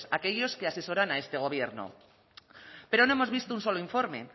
aquellos que asesoran a este gobierno pero no hemos visto un solo informe